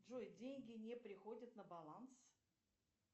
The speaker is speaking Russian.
джой деньги не приходят на баланс